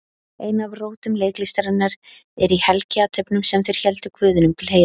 Ein af rótum leiklistarinnar er í helgiathöfnum sem þeir héldu guðinum til heiðurs.